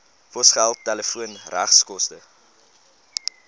posgeld telefoon regskoste